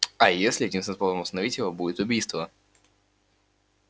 а если единственным способом остановить его будет убийство